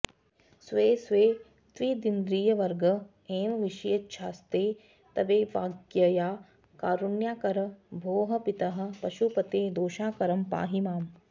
स्वे स्वे त्विन्द्रियवर्ग एव विषयेच्छास्ते तवैवाज्ञया कारुण्याकर भोः पितः पशुपते दोषाकरं पाहि माम्